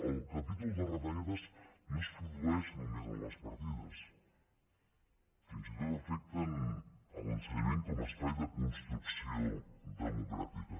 el capítol de retallades no es produeix només en les partides fins i tot afecten l’ensenyament com a espai de construcció democràtica